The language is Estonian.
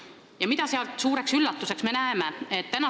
Ja mida me sealt oma suureks üllatuseks näeme?